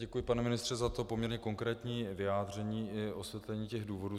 Děkuji, pane ministře, za to poměrně konkrétní vyjádření i osvětlení těch důvodů.